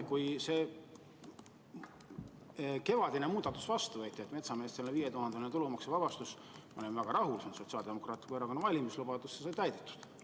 Kui see kevadine muudatus vastu võeti, et metsameestele antakse 5000-eurone tulumaksuvabastus, siis ma olin väga rahul, Sotsiaaldemokraatliku Erakonna valimislubadus sai täidetud.